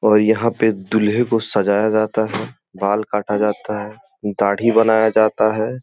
और यहां पे दुल्हे को सजाया जाता है बाल काटा जाता है दाढ़ी बनाया जाता है।